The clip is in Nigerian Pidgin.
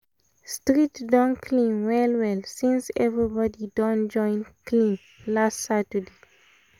street don clean well well since everybody don join clean last saturday